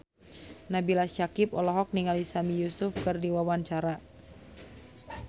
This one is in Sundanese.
Nabila Syakieb olohok ningali Sami Yusuf keur diwawancara